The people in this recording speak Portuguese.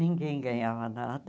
Ninguém ganhava nada.